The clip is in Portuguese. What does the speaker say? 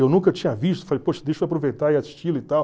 Eu nunca tinha visto, falei, poxa, deixa eu aproveitar e e tal.